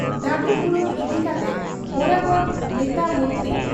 ᱫᱟᱵᱤ ᱯᱩᱨᱩᱱ ᱤᱫᱤ ᱠᱟᱛᱮ ᱵᱚᱨᱟᱵᱚᱨ ᱱᱮᱛᱟ ᱢᱚᱱᱛᱨᱤ